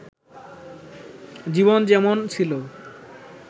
জীবন যেমন ছিল